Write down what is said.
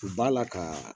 U b'a la kaa